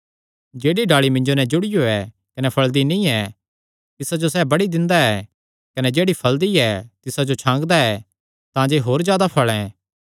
जेह्ड़ी डाल़ी मिन्जो नैं जुड़ियो ऐ कने फल़दी नीं ऐ तिसा जो सैह़ बड्डी दिंदा ऐ कने जेह्ड़ी फल़दी ऐ तिसा जो छांगदा ऐ तांजे होर जादा फल़ें